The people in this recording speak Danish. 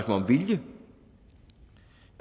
om vilje